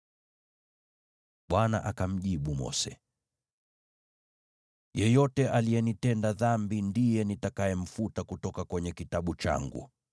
Bwana akamjibu Mose, “Yeyote aliyenitenda dhambi ndiye nitakayemfuta kutoka kwenye kitabu changu.